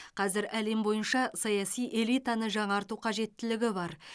қазір әлем бойынша саяси элитаны жаңарту қажеттілігі бар